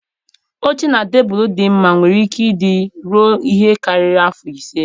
Oche na tebụl dị mma nwere ike ị dị ruọ ihe karịrị afọ ise.